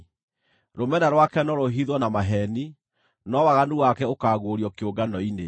Rũmena rwake no rũhithwo na maheeni, no waganu wake ũkaaguũrio kĩũngano-inĩ.